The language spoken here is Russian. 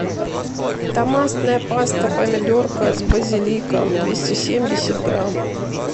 томатная паста помидорка с базиликом двести семьдесят грамм